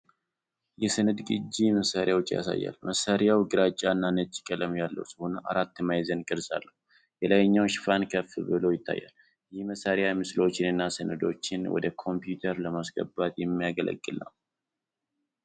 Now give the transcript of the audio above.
የሰነድ ቅጂ መሣሪያን ያሳያል። መሳሪያው ግራጫና ነጭ ቀለም ያለው ሲሆን አራት ማዕዘን ቅርፅ አለው። የላይኛው ሽፋን ከፍ ብሎ ይታያል። ይህ መሣሪያ ምስሎችንና ሰነዶችን ወደ ኮምፒውተር ለማስገባት የሚያገለግል ነው።